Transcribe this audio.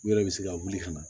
U yɛrɛ bɛ se ka wuli ka na